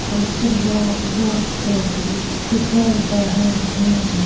कुछ लोग रोड पे से गुजर रहे हैं।